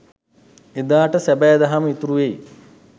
එදාට සැබෑ දහම ඉතුරු වෙයි.